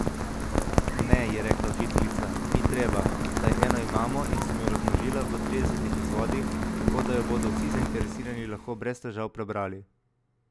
Ne, je rekla učiteljica, ni treba, saj eno imamo in sem jo razmnožila v tridesetih izvodih, tako da jo bodo vsi zainteresirani lahko brez težav prebrali.